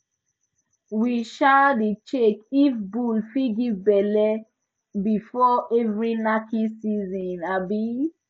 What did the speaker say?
we um dey check if bull fit give belle before every knacking season um